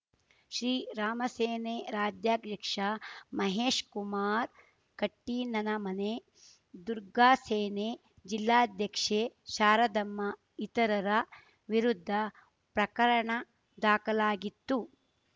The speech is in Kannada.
ಶ್ರೀರಾಮಸೇನೆ ರಾಜ್ಯಾಧ್ಯಕ್ಷ ಮಹೇಶ್‌ ಕುಮಾರ್‌ ಕಟ್ಟಿನನಮನೆ ದುರ್ಗಾಸೇನೆ ಜಿಲ್ಲಾಧ್ಯಕ್ಷೆ ಶಾರದಮ್ಮ ಇತರರ ವಿರುದ್ಧ ಪ್ರಕರಣ ದಾಖಲಾಗಿತ್ತು